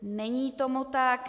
Není tomu tak.